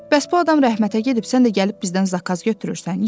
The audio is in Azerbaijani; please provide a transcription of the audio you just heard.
Bəs bu adam rəhmətə gedib sən də gəlib bizdən zakaz götürürsən?